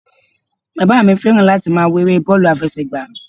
Bàbá mi fẹ́ràn láti máa wo eré bọ́ọ̀lù àfẹsẹ̀gbá